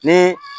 Ni